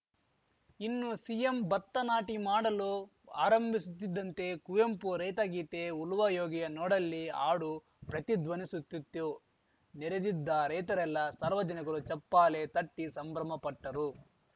ಇನ್ನು ಸಿಎಂ ಭತ್ತ ನಾಟಿ ಮಾಡಲು ಆರಂಭಿಸುತ್ತಿದ್ದಂತೆ ಕುವೆಂಪು ರೈತ ಗೀತೆ ಉಲುವಾ ಯೋಗಿಯ ನೋಡಲ್ಲಿ ಹಾಡು ಪ್ರತಿಧ್ವನಿಸುತ್ತಿತ್ತು ನೆರೆದಿದ್ದ ರೈತರೆಲ್ಲ ಸಾರ್ವಜನಿಕರು ಚಪ್ಪಾಲೆ ತಟ್ಟಿಸಂಭ್ರಮಪಟ್ಟರು